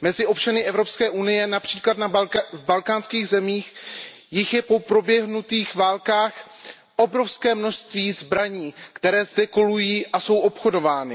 Mezi občany Evropské unie, například v balkánských zemích, je po proběhnutých válkách obrovské množství zbraní, které zde kolují a jsou obchodovány.